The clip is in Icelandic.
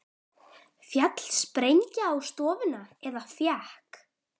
Féll sprengja á stofuna eða fékk